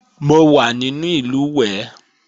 Mo wà nínú ìlùwẹ̀ẹ̀